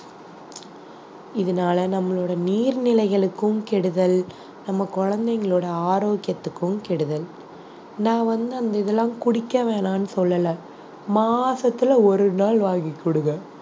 இதனால நம்மளோட நீர்நிலைகளுக்கும் கெடுதல் நம்ம குழந்தைங்களோட ஆரோக்கியத்துக்கும் கெடுதல் நான் வந்து அந்த இதெல்லாம் குடிக்க வேணானு சொல்லல மாசத்துல ஒரு நாள் வாங்கி குடுங்க